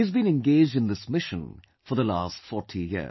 He has been engaged in this mission for the last 40 years